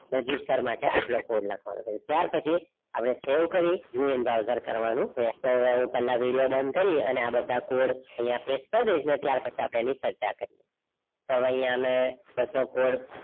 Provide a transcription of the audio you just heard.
register માટે આટલો code લખવાનો છે ત્યાર પછી આપણે save કરી browser એની પેલા આપડે video બન કરીયે અને આ બધા code અહીંયા paste કરી ડેઈસુ ત્યાર પછી આપણે તો હવે અહીંયા અમે બધો code